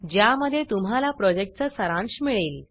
ज्यामध्ये तुम्हाला प्रॉजेक्टचा सारांश मिळेल